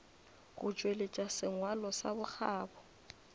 go tšweletša sengwalo sa bokgabo